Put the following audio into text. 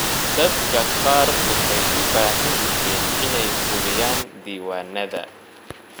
Dadka qaar waxay u baahan yihiin inay hubiyaan diiwaanada.